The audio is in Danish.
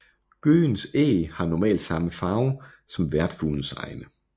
Gøgens æg har normalt samme farve som værtsfuglens egne